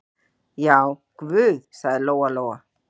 Já, guð, sagði Lóa-Lóa.